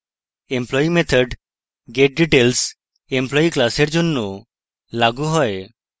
employee method getdetails employee class জন্য লাগু হয়